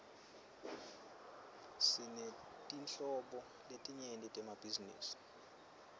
sinetinhlobo letinyenti temabhizinisi